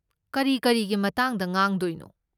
ꯀꯔꯤ ꯀꯔꯤꯒꯤ ꯃꯇꯥꯡꯗ ꯉꯥꯡꯗꯣꯏꯅꯣ?